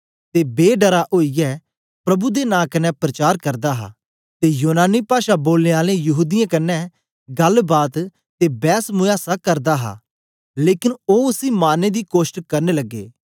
ते बे डरा ओईयै प्रभु दे नां कन्ने प्रचार करदा हा ते यूनानी पाषा बोलने आलें यहूदीयें कन्ने गल्ल बात ते बैसमूयासा करदा हा लेकन ओ उसी मारने दी कोष्ट करने लगे